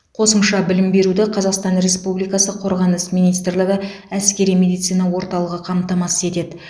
қосымша білім беруді қазақстан республикасы қорғаныс министрлігі әскери медицина орталығы қамтамасыз етеді